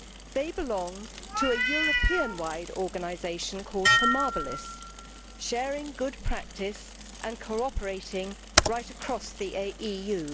They belong to a European wide organisation called Homabilis, sharing good practice and cooperating right across the EU.